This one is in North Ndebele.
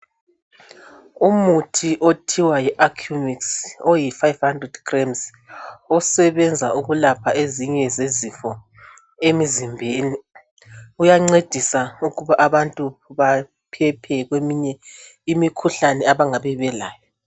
Umuthi othiwa yiAccumix oyi500g osebenza ukulapha ezinye zezifo emizimbeni uyancedisa ukuba abantu baphephe kweminye imikhuhlane abangabe belayo.